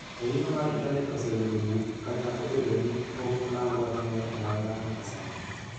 Ohinga mar Intanet oseyudo bug kata obedo ni pok oland wachno ayanga nyaka sani.